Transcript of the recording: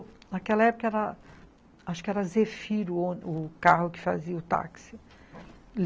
Naquela época, acho que era Zé Firo, o carro que fazia o táxi.